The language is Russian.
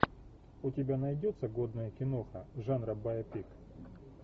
у тебя найдется годная киноха жанра байопик